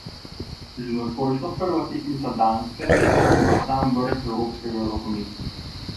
Že nocojšnja prva tekmica Danska sodi v sam vrh evropskega rokometa.